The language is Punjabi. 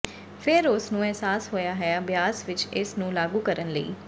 ਫਿਰ ਉਸ ਨੂੰ ਅਹਿਸਾਸ ਹੋਇਆ ਹੈ ਅਭਿਆਸ ਵਿੱਚ ਇਸ ਨੂੰ ਲਾਗੂ ਕਰਨ ਲਈ